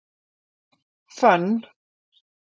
Fönn